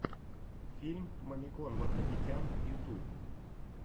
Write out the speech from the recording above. фильм мамикон вардапетян ютуб